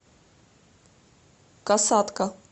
касатка